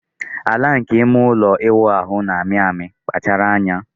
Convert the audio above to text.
Ala nke ime ụlọ ịwụ ahụ na-amị amị, kpachara anya.